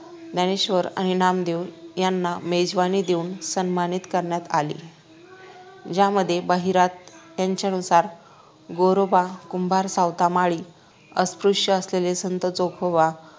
ज्ञानेश्वर आणि नामदेव यांना मेजवानी देऊन सन्मानित करण्यात आले ज्यामध्ये बहिरात यांच्यानुसार गोरोबा कुंभार सावता माळी अस्पृश्य असलेले संत चोखोबा